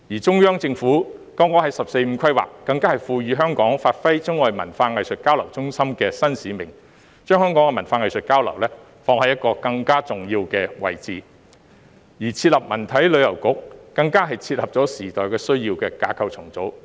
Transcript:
中央政府更剛在"十四五"規劃中，賦予香港發揮中外文化藝術交流中心的新使命，將香港的文化藝術交流，放在一個更加重要的位置，而設立文體旅遊局更是切合時代需要的架構重組。